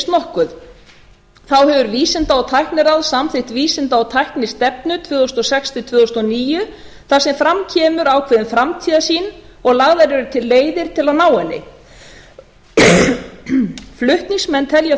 nokkuð þá hefur vísinda og tækniráð samþykkt vísinda og tæknistefnu tvö þúsund og sex til tvö þúsund og níu þar sem fram kemur ákveðin framtíðarsýn og lagðar eru til leiðir til að ná henni flutningsmenn telja